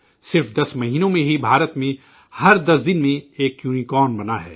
محض 10 مہینوں میں ہی بھارت میں ہر 10 دن میں ایک یونی کارن بنا ہے